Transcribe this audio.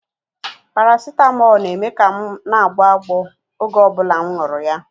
Paracetamol na-eme ka m na-agbọ agbọ oge ọ bụla m nwuru ya